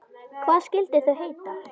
Hvað skyldu þau heita?